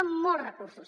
són molts recursos